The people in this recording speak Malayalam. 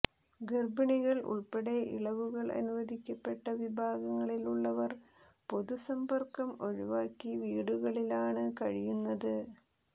ഗർഭിണികൾ ഉൾപ്പെടെ ഇളവുകൾ അനുവദിക്കപ്പെട്ട വിഭാഗങ്ങളിലുള്ളവർ പൊതുസമ്പർക്കം ഒഴിവാക്കി വീടുകളിലാണ് കഴിയുന്നത്